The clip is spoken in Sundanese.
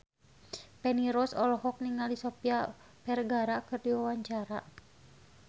Feni Rose olohok ningali Sofia Vergara keur diwawancara